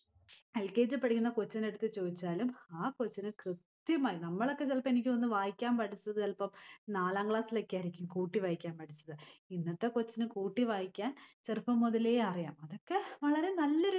L. K. G യിൽ പഠിക്കുന്ന കൊച്ചിനടുത്തു ചോയിച്ചാലും ആ കൊച്ചിന് കൃത്യമായി നമ്മളൊക്കെ ചെലപ്പോ എനിക്ക് തോന്നുന്നു വായിക്കാൻ പഠിച്ചത് ചെലപ്പം നാലാം class സ്സിലൊക്കെയായിരിക്കും കൂട്ടിവായിക്കാൻ പഠിച്ചത്. ഇന്നത്തെ കൊച്ചിന് കൂട്ടിവായിക്കാൻ ചെറുപ്പം മുതലേ അറിയാം. അതൊക്കെ വളരെ നല്ലൊരു